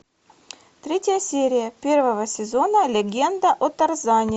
третья серия первого сезона легенда о тарзане